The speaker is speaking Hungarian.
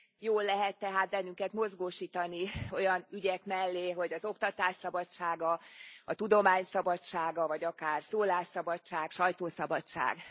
Jól lehet tehát bennünket mozgósítani olyan ügyek mellé, hogy az oktatás szabadsága, a tudomány szabadsága, vagy akár szólásszabadság, sajtószabadság.